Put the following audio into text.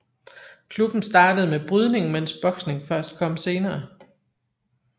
Klubben startede med brydning mens boksning først kom senere